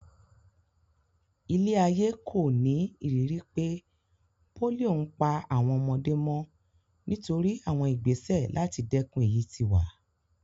Ilé-ayé kò ní ìrírí pé pólíò ń pa àwọn ọmọdé mọ́ nítorí àwọn ìgbésẹ̀ láti dèkun èyí tí wà.